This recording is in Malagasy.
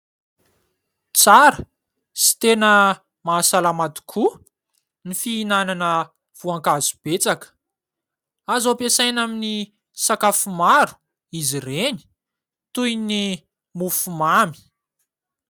Tsara sy tena mahasalama tokoa ny fihinanana voankazo betsaka, azo ampiasaina aminy sakafo maro izy ireny toy ny mofo mamy.